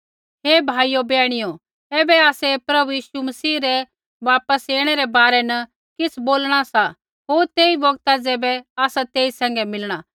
हे भाइयो बैहणियो ऐबै आसै प्रभु यीशु मसीह रै वापस ऐणै रै बारै न किछ़ बोलणा सा होर तेई बौगता ज़ैबै आसा तेई सैंघै मिलणा